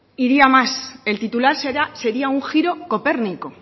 iría más el titular sería un giro copérnico